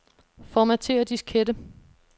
Formatér diskette.